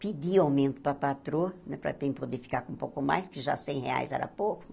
Pedi aumento para a patroa, para poder ficar com um pouco mais, que já cem reais era pouco.